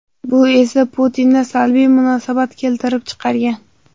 Bu esa Putinda salbiy munosabat keltirib chiqargan.